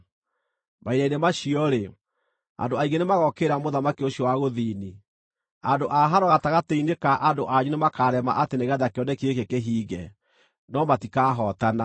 “Mahinda-inĩ macio-rĩ, andũ aingĩ nĩmagookĩrĩra mũthamaki ũcio wa gũthini. Andũ a haaro gatagatĩ-inĩ ka andũ anyu nĩmakarema atĩ nĩgeetha kĩoneki gĩkĩ kĩhinge, no matikahootana.